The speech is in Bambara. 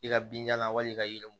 I ka binjalan wali ka yiriw